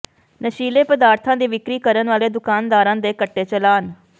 ਨਸ਼ੀਲੇ ਪਦਾਰਥਾਂ ਦੀ ਵਿਕਰੀ ਕਰਨ ਵਾਲੇ ਦੁਕਾਨਦਾਰਾਂ ਦੇ ਕੱਟੇ ਚਲਾਨ